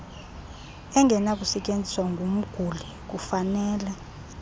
engenakusetyeziswa ngumguli kufaneleke